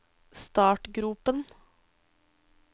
startgropen